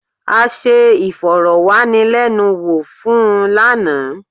A ṣe ìfọ̀rọ̀wánilẹ́nuwò fún un lánàá.